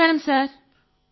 నమస్కారం సర్ |